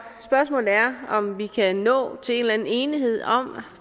spørgsmålet er om vi kan nå til en eller anden enighed om